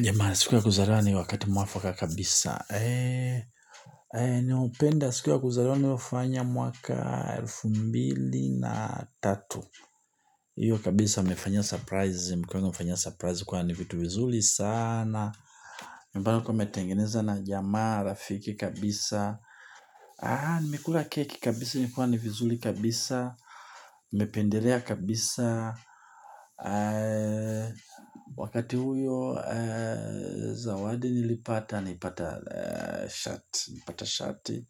Jamaa siku ya kuzaliwa ni wakati mwafaka kabisa. Ni openda sikuwa kuzaliwa ni wafanya mwaka elfu mbili na tatu. Iyo kabisa nimefanyia surprise mkwango mfanya surprise kwa ni mtu vizuri sana ambalo nilikuwa nimetengeneza na jamaa rafiki kabisa. Nimekula keki kabisa nikiwa ni vizuri kabisa nimependelea kabisa wakati huyo zawadi nilipata nilipata shati